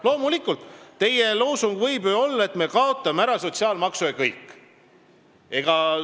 Loomulikult võib ju teie loosung olla, et me kaotame sotsiaalmaksu ära, ja kõik.